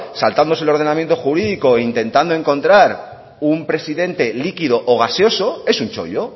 saltándose el ordenamiento jurídico e intentando encontrar un presidente líquido o gaseoso es un chollo